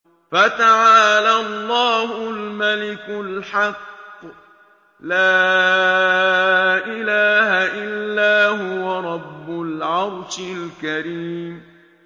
فَتَعَالَى اللَّهُ الْمَلِكُ الْحَقُّ ۖ لَا إِلَٰهَ إِلَّا هُوَ رَبُّ الْعَرْشِ الْكَرِيمِ